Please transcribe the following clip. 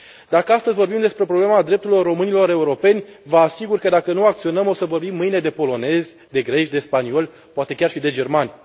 Dacă astăzi vorbim despre problema drepturilor românilor europeni, vă asigur că, dacă nu acționăm, o să vorbim mâine de polonezi, de greci, de spanioli, poate chiar și de germani.